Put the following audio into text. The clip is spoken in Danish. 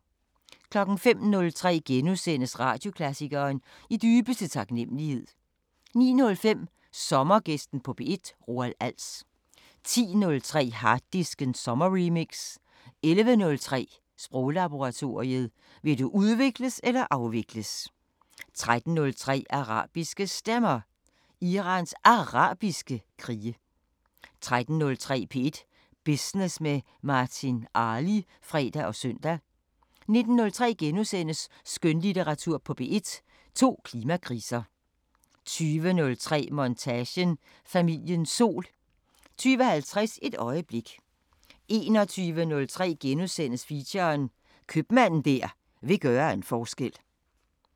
05:03: Radioklassikeren: I dybeste taknemmelighed * 09:05: Sommergæsten på P1: Roald Als 10:03: Harddisken sommerremix 11:03: Sproglaboratoriet: Vil du udvikles eller afvikles? 13:03: Arabiske Stemmer: Irans Arabiske krige 13:30: P1 Business med Martin Arli (fre og søn) 19:03: Skønlitteratur på P1: To klimakriser * 20:03: Montage: Familiens sol 20:50: Et øjeblik 21:03: Feature: Købmanden der vil gøre en forskel *